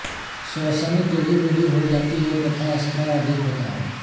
श्वसनी टेढ़ी मेढ़ी हो जाती है तथा स्राव अधिक होता है